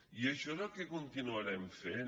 i això és el que continuarem fent